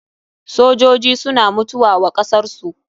Sojoji suna mutuwa wa kasar su.